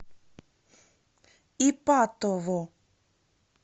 ипатово